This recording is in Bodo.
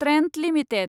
Trent limited